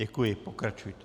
Děkuji, pokračujte.